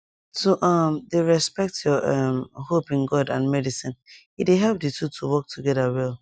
to um dey respect your um hope in god and medicine e dey help di two to work together well